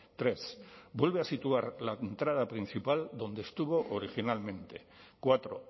tres vuelve a situar la entrada principal donde estuvo originalmente cuatro